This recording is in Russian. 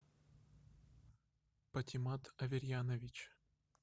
патимат аверьянович